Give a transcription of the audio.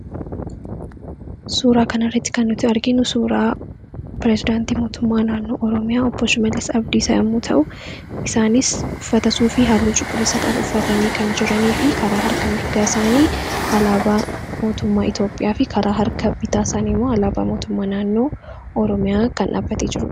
Suuraa kana irritti kan nuti arginu suuraa pirezidaantii mootummaa naannoo oroomiyaa obbosh meeles abdiisaa yimmuu ta'u isaanis uffatasuu fi haaloo cuqulisa qab uffatanii kan jiranii fi karaa harka mirgaa isaanii alaabaa mootummaa iitoophiyaa fi karaa harka bitaa isaanii immoo alaabaa mootummaa naannoo ooroomiyaa kan dhaabatee jiru.